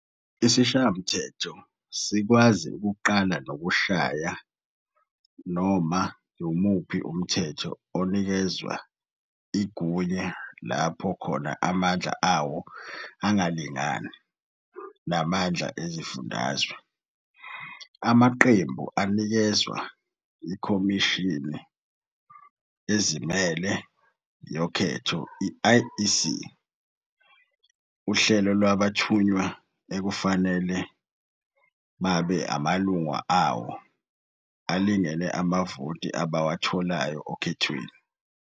ISishayamthetho ikwazi okuqala nokushaya nomu wumuphi umthetho onikezwe igunyo lapho khona amandla ayo angalingani namandla ezifundazwe. Amaqembu anikeza iKhomishini eZimele yoKhetho, i-IEC, uhlelo lwabathunywa ekufanele babe amalunga awo alingene amavoti abawatholayo ekhethweni.